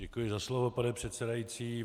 Děkuji za slovo, pane předsedající.